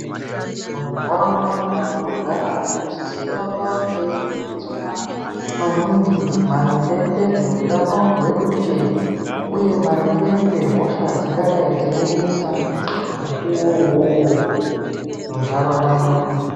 Mu ndaraunda mwatino gara tino sisa kuramba teyi fundiswa maningi maringe nge zveutano hwedu nje uye maringe nge hosha dzingadai dzeyi nesa mukuwo uwowo mu ndaraunda mwedu.